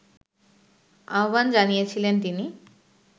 আহ্বান জানিয়েছিলেন তিনি